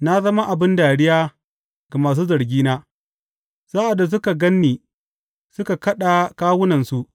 Na zama abin dariya ga masu zargina; sa’ad da suka gan ni, suka kaɗa kawunansu.